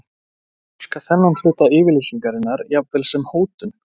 Túlka þennan hluta yfirlýsingarinnar jafnvel sem hótun?